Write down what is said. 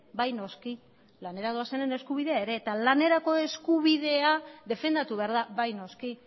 bai noski lanera doazenen eskubidea ere eta lanerako eskubidea defendatu behar da bai noski